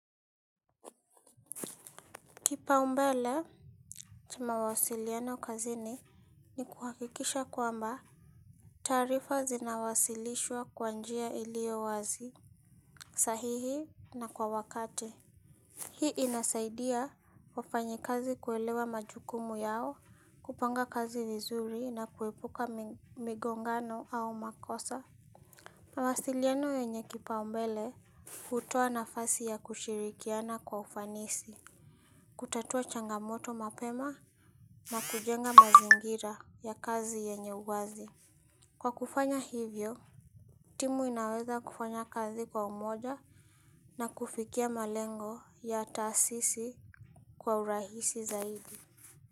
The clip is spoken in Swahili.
Kipaumbele cha mawasiliano kazini ni kuhakikisha kwamba taarifa zinawasilishwa kwa njia iliyowazi, sahihi na kwa wakati. Hii inasaidia wafanyakazi kuelewa majukumu yao, kupanga kazi vizuri na kuepuka migongano au makosa. Mawasiliano yenye kipaumbele hutoa nafasi ya kushirikiana kwa ufanisi, kutatua changamoto mapema na kujenga mazingira ya kazi yenye uwazi. Kwa kufanya hivyo, timu inaweza kufanya kazi kwa umoja na kufikia malengo ya taasisi kwa urahisi zaidi.